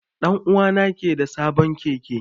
Dan'uwa na ke da sabon Keke.